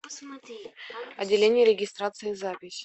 отделение регистрации запись